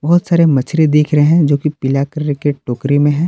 बहुत सारे मछरी दिख रहे हैं जो की पीला कलर की टोकरी में हैं।